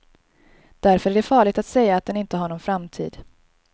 Därför är det farligt att säga att den inte har någon framtid.